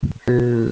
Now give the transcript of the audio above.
ээ